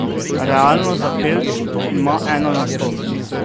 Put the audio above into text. Realno, za pelc ima ena na sto.